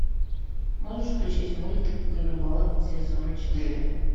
можешь включить мульт ганнибал сезон четыре